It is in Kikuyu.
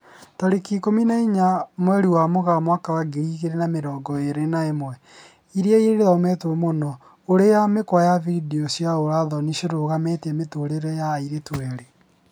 Tarĩki ikũmi na inya mweri wa Mũgaa mwaka wa ngiri igĩri na mĩrongo ĩri na ĩmwe, ĩria ĩthometwo mũno: ũrĩa mĩkwa ya video cia ũra thoni ciarũgamirie mũtũrĩre wa airĩtu erĩ